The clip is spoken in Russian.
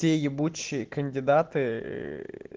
те ебучие кандидаты